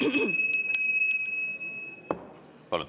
Palun!